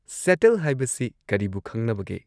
Settle ꯍꯥꯏꯕꯁꯤ ꯀꯔꯤꯕꯨ ꯈꯪꯅꯕꯒꯦ?